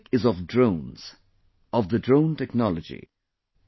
This topic is of Drones, of the Drone Technology